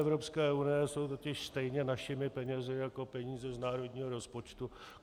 Evropské unie jsou totiž stejně našimi penězi jako peníze z národního rozpočtu.